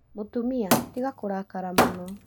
Mũtumia, tiga kũrakara mũno